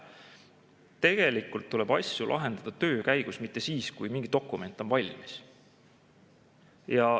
Tegelikult tuleb asju lahendada töö käigus, mitte siis, kui mingi dokument on valmis.